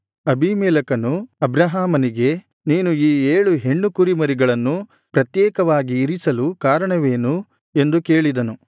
ಅಬೀಮೆಲೆಕನು ಅಬ್ರಹಾಮನಿಗೆ ನೀನು ಈ ಏಳು ಹೆಣ್ಣು ಕುರಿಮರಿಗಳನ್ನು ಪ್ರತ್ಯೇಕವಾಗಿ ಇರಿಸಲು ಕಾರಣವೇನು ಎಂದು ಕೇಳಿದನು